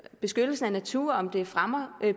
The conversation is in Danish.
beskyttelsen af naturen om den fremmer